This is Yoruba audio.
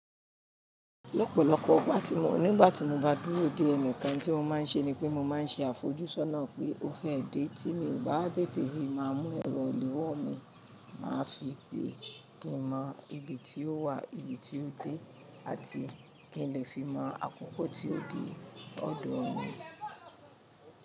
Lọ́pọ̀lọ́pọ̀ ọgbà tí mo, nígbà tí mo bá dúró dé ẹnìkan tí mo máa ń ṣe ni pé mo máa ń ṣe àfojúsọ́nà pé ó fẹ́ dé tí mi ò bá té tẹ̀rì máa mú ẹ̀rọ òlówó mi, màá fi pè kí n mọ ibi tí ó wà, ibi tí ó dé àti kí n lè fi mọ àkókò tí ó dé ọ̀dọ̀ mi.